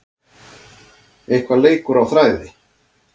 Eitthvað leikur á þræði